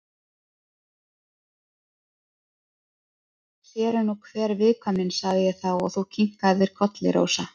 Sér er nú hver viðkvæmnin, sagði ég þá og þú kinkaðir kolli, Rósa.